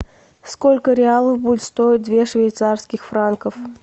сколько реалов будет стоить две швейцарских франков